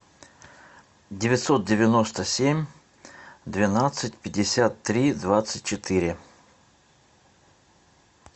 девятьсот девяносто семь двенадцать пятьдесят три двадцать четыре